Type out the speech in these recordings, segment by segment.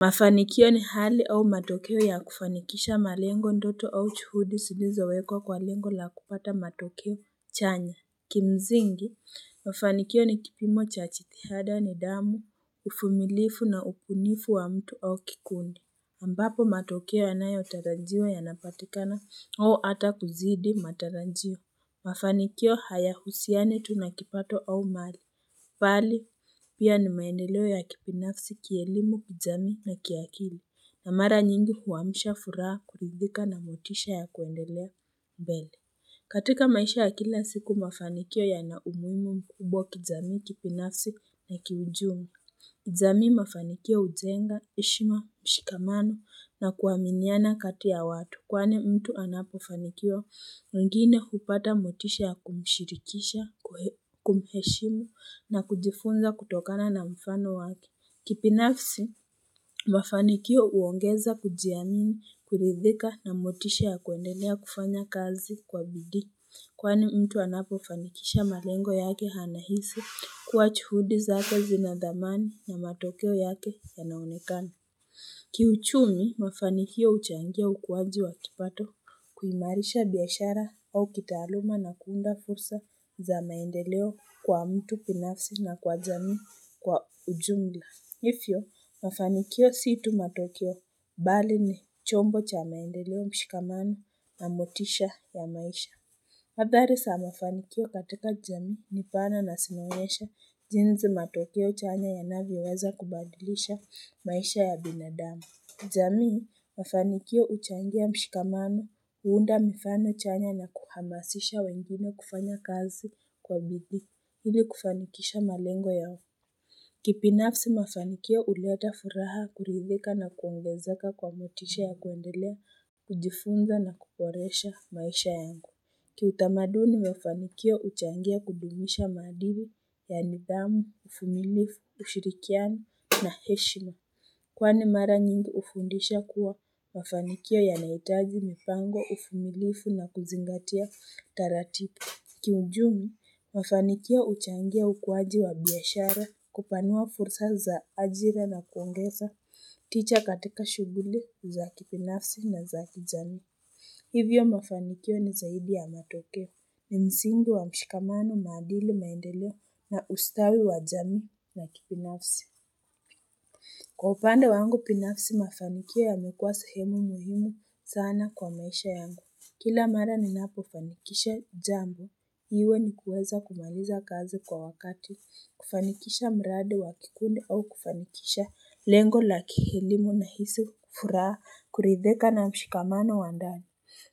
Mafanikio ni hali au matokeo ya kufanikisha malengo ndoto au juhudi zilizowekwa kwa lengo la kupata matokeo chanya Kimsingi mafanikio ni kipimo cha jitihada nidhamu, uvumilifu na ubunifu wa mtu au kikundi ambapo matokeo yanayotarajiwa yanapatikana au ata kuzidi matarajio. Mafanikio hayahusiani tu na kipato au mali bali pia ni maendeleo ya kibinafsi kielimu kijamii na kiakili na mara nyingi huamsha furaha kuridhika na motisha ya kuendelea mbele. Katika maisha ya kila siku mafanikio yana umuhimu mkubwa kijamii kibinafsi na kiuchumi. Jamii, mafanikio hujenga, heshima, mshikamano na kuaminiana kati ya watu. Kwani mtu anapofanikiwa mwingine kupata motisha ya kumshirikisha, kumheshimu na kujifunza kutokana na mfano wake. Kibinafsi, mafanikio huongeza kujiamini, kuridhika na motisha ya kuendelea kufanya kazi kwa bidi. Kwani mtu anapo fanikisha malengo yake anahisi kuwa juhudi zake zina thamani na matokeo yake yalnaonekana. Kiuchumi mafanikio huchangia ukuwaji wa kipato kuimarisha biashara au kitaaluma na kuunda fursa za maendeleo kwa mtu binafsi na kwa jamii kwa ujumla. Hivyo mafanikio si tu matokeo bali ni chombo cha maendeleo mshikamano na motisha ya maisha. Hadhari za mafanikio katika jamii ni pana na zinaonyesha jindi matokeo chanya yanavyoweza kubadilisha maisha ya binadamu jamii mafanikio huchangia mshikamano huunda mifano chanya na kuhamasisha wengine kufanya kazi kwa bidii ili kufanikisha malengo yao. Kibinafsi mafanikio huleta furaha kuridhika na kuongezeka kwa motisha ya kuendelea kujifunza na kuboresha maisha yangu. Kiutamaduni mafanikio huchangia kudumilisha maadili ya nidhamu, uvumilifu, ushirikiano na heshima Kwani mara nyingi hufundisha kuwa mafanikio yanahitaji mipango, uvumilifu na kuzingatia taratibu Kiuchumi, mafanikio huchangia ukuwaji wa biashara kupanua fursa za ajira na kuongeza tija katika shughuli za kibinafsi na za kijamii Hivyo mafanikio ni zaidi ya matokeo. Ni msingi wa mshikamano maadili maendeleo na ustawi wa jamii na kibinafsi. Kwa upande wangu binafsi mafanikio yamekuwa sehemu muhimu sana kwa maisha yangu. Kila mara ninapofanikisha jambo. Iwe ni kuweza kumaliza kazi kwa wakati. Kufanikisha mradi wa kikundi au kufanikisha lengo la elimu nahisi furaha kuridhika na mshikamano wa ndani.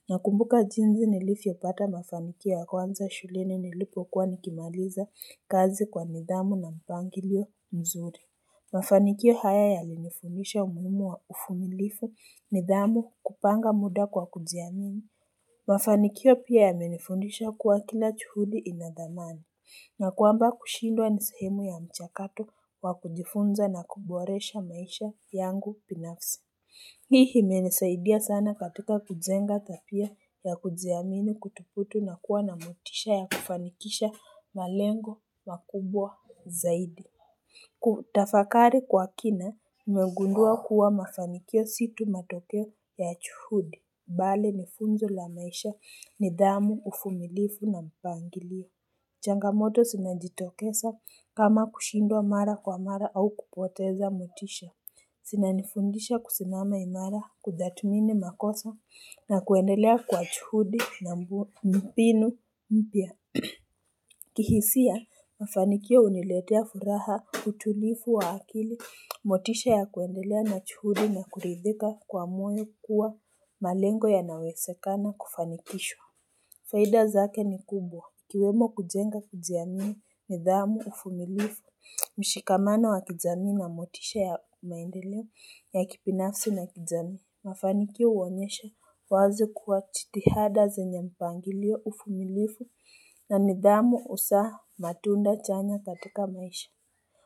Nakumbuka jinsi nilivyopata mafanikio ya kwanza shuleni nilipokuwa nikimaliza kazi kwa nidhamu na mpangilio mzuri. Mafanikio haya yalinifundisha umuhimu wa uvumilivu nidhamu kupanga muda kwa kujiamini. Mafanikio pia yamenifundisha kuwa kila juhudi inathamani. Nakwamba kushindwa ni sehemu ya mchakato wa kujifunza na kuboresha maisha yangu binafsi. Hii imenisaidia sana katika kujenga tabia ya kujiamini kudhubutu na kuwa na motisha ya kufanikisha malengo makubwa zaidi. Kutafakari kwa kina, imegundua kuwa mafanikio si tu matokeo ya juhudi. Bali ni funzo la maisha nidhamu, uvumilivu na mpangilio. Changamoto zinajitokeza kama kushindwa mara kwa mara au kupoteza motisha. Zinanifundisha kusimama imara kutathmini makosa na kuendelea kwa juhudi na mbinu mpya. Kihisia, mafanikio huniletea furaha utulivu wa akili, motisha ya kuendelea na juhudi na kuridhika kwa moyo kuwa malengo yanawezekana kufanikishwa. Faida zake ni kubwa. Ikiwemo kujenga kujiamini, nidhamu, uvumilivu, mshikamano wa kijamii na motisha ya maendeleo, ya kibinafsi na kijamii, mafanikio huonyesha wazi kuwa jitihada zenye mpangilio uvumilivu na nidhamu huzaa matunda chanya katika maisha.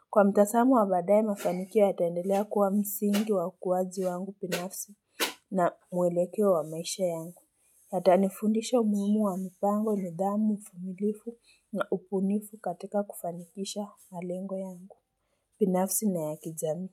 Kwa mtazamo wa baadae, mafanikio yataendelea kuwa msingi kwa ukuwaji wangu binafsi na mwelekeo wa maisha yangu. Yatanifundisha umuhimu wa mipango, nidhamu, uvumilivu na ubunifu katika kufanikisha malengo yangu. Binafsi na ya kijamii.